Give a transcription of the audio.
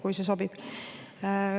Ehk see sobib.